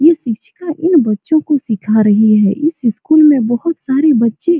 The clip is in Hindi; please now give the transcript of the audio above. ये शिक्षिका इन बच्चों को सीखा रही है इस स्कूल में बहुत सारे बच्चे --